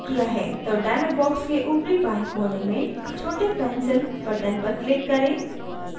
तो dialog box के ऊपरी बाएं कोने में छोटे pencil button पर click करें